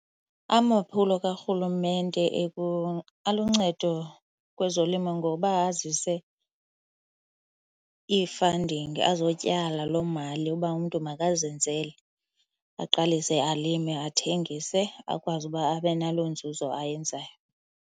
Amaphulo kaRhulumente aluncedo kwezolimo ngoba azise ii-funding, azotyala loo mali uba umntu makazenzele aqalise alime athengise akwazi uba abe naloo nzuzo ayenzayo.